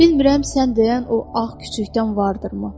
Bilmirəm sən deyən o ağ küçükdən vardır mı?